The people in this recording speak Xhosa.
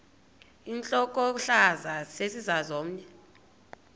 intlokohlaza sesisaz omny